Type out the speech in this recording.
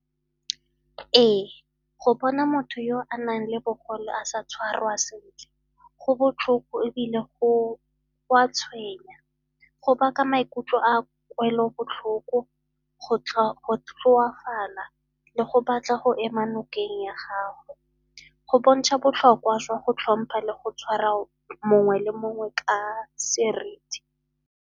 Ee, go bona motho yo o nang le bogole a sa tshwarwa sentle go botlhoko ebile go a tshwenya. Go baka maikutlo a kwelobotlhoko, go tlhoafala le go batla go ema nokeng ya gago. Go bontsha botlhokwa jwa go tlhompha le go tshwara mongwe le mongwe ka seriti.